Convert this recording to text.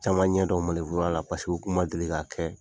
Caman ɲɛdɔn la paseke o kuma deli ka kɛ.